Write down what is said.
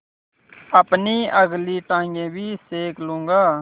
अपनी अगली टाँगें भी सेक लूँगा